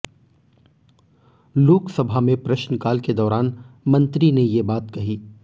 लोकसभा में प्रश्नकाल के दौरान मंत्री ने ये बात कही